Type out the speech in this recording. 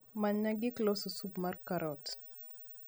manyna gik losos sup mar karot